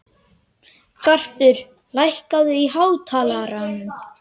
Garpur, lækkaðu í hátalaranum.